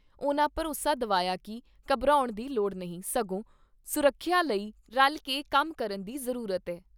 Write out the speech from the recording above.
ਉਨ੍ਹਾਂ ਭਰੋਸਾ ਦਵਾਇਆ ਕਿ ਘਬਰਾਉਣ ਦੀ ਲੋੜ ਨਹੀਂ, ਸਗੋਂ ਸੁਰੱਖਿਆ ਲਈ ਰਲ ਕੇ ਕੰਮ ਕਰਨ ਦੀ